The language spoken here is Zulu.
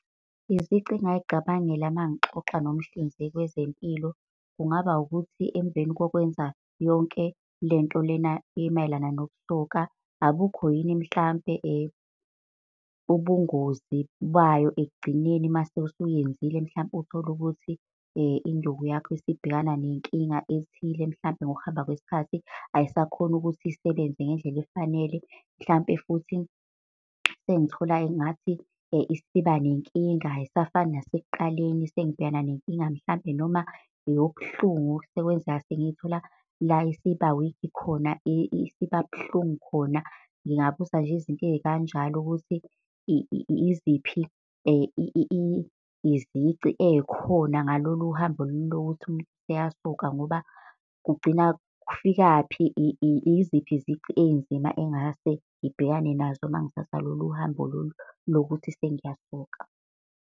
Izici engay'cabangela mangixoxa nomhlinzeki wezempilo, kungaba ukuthi, emveni wokwenza yonke lento lena emayelana nokusoka akukho yini mhlampe ubungozi bayo ekugcineni mase usuyenzile? Mhlampe uthole ukuthi induku yakho isibhekana nenkinga ethile, mhlampe ngokuhamba kwesikhathi ayisakhoni ukuthi isebenze ngendlela efanele. Mhlampe futhi sengithola engathi isiba nenkinga ayisafani nasekuqaleni. Sengibhekana nenkinga, mhlampe noma eyobuhlungu, sekwenzeka sengiyithola la isiba-weak khona, isibabuhlungu khona. Ngingabuza nje izinto ey'kanjalo ukuthi iziphi izici ey'khona ngalolu hambo lokuthi seyasuka. Ngoba kugcina kufikaphi, iziphi izici ey'nzima engase ngibhekane nazo mengithatha lolu hambo lolu lokuthi sengiyasoka.